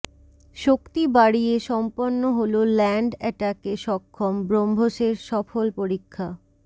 শক্তি বাড়িয়ে সম্পন্ন হল ল্যান্ড অ্যাটাকে সক্ষম ব্রহ্মসের সফল পরীক্ষা